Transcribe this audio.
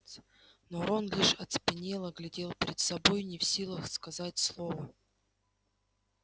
но рон лишь оцепенело глядел перед собой не в силах сказать слова